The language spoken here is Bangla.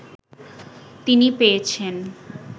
তিনি পেয়েছেন